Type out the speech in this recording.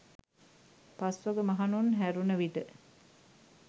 පස්වග මහණුන් හැරුණ විට